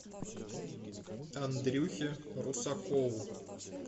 андрюхе русакову